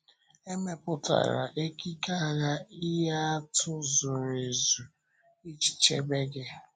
E mepụtara ekike agha ihe atụ zuru ezu iji chebe gị.